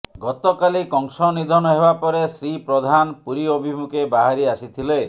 ଗତକାଲି କଂସ ନିଧନ ହେବା ପରେ ଶ୍ରୀ ପ୍ରଧାନ ପୁରୀ ଅଭିମୁଖେ ବାହାରି ଆସିଥିଲେ